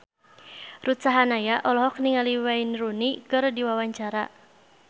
Ruth Sahanaya olohok ningali Wayne Rooney keur diwawancara